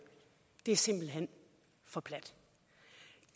er simpelt hen for plat